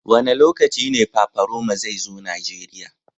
Wa ne lokacin ne Paparoma zai zo Nijeriya.